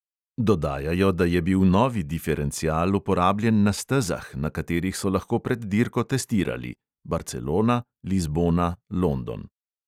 Dodajajo, da je bil novi diferencial uporabljen na stezah, na katerih so lahko pred dirko testirali (barcelona, lizbona, london).